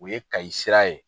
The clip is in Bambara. O ye Kayi sira ye